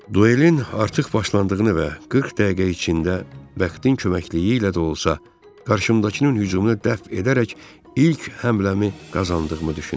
Duelin artıq başlandığını və 40 dəqiqə içində vəqtin köməkliyi ilə də olsa, qarşımdakının hücumunu dəf edərək ilk həmləmi qazandığımı düşündüm.